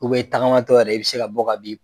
i tagama tɔ yɛrɛ i bɛ se ka bɔ ka bin.